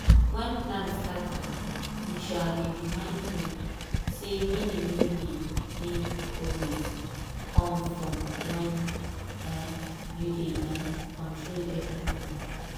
when plan scatter e um dey remind me say meaning no dey dey always come from when um you dey um control everything.